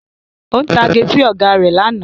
Ó ń tage sí Ọ̀gá rẹ̀ lánàá